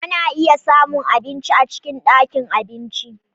Ana iya samun abinci a cikin ɗakin abinci.